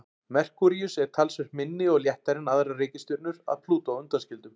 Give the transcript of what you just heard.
Merkúríus er talsvert minni og léttari en aðrar reikistjörnur að Plútó undanskildum.